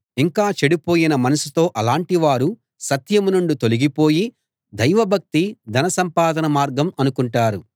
ఇంకా చెడిపోయిన మనసుతో అలాటి వారు సత్యం నుండి తొలగిపోయి దైవభక్తి ధనసంపాదన మార్గం అనుకుంటారు